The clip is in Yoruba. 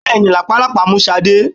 Bẹ́ẹ̀ni, làpálàpá mú Sade?